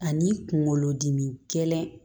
Ani kunkolodimi gɛlɛn